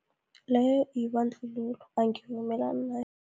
Leyo yibandlululo, angivumelani nayo.